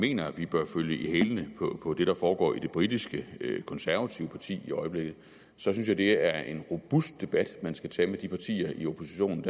mener at vi bør følge i hælene på det der foregår i det britiske konservative parti i øjeblikket synes jeg det er en robust debat man skal tage med de partier i oppositionen